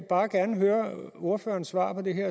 bare gerne høre ordførerens svar på det her